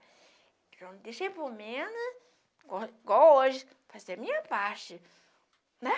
Não deixei por menos, igual igual hoje, fazer a minha parte, né?